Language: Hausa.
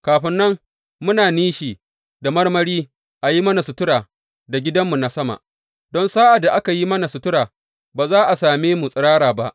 Kafin nan muna nishi, da marmari a yi mana sutura da gidanmu na sama, don sa’ad da aka yi mana sutura, ba za a same mu tsirara ba.